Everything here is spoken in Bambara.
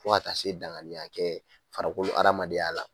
Fo ka taa se daŋaniya kɛ farakolo hadamadenya la